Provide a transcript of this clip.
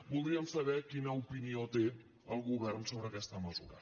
voldríem saber quina opinió té el govern sobre aquesta mesura